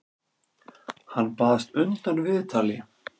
Hann baðst undan viðtali.